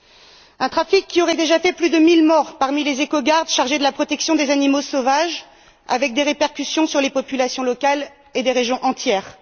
C'est un trafic qui aurait déjà fait plus de 1000 morts parmi les éco gardes chargés de la protection des animaux sauvages avec des répercussions sur les populations locales et des régions entières.